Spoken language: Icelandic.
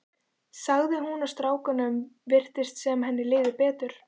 sagði hún og strákunum virtist sem henni liði betur.